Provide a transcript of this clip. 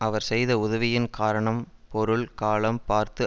அவர் செய்த உதவியின் காரணம் பொருள் காலம் பார்த்து